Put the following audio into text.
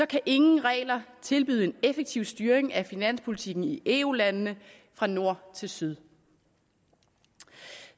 kan ingen regler tilbyde en effektiv styring af finanspolitikken i eu landene fra nord til syd